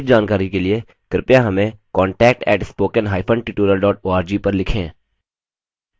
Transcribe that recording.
अधिक जानकारी के लिए कृपया हमें contact @spoken hyphen tutorial org पर लिखें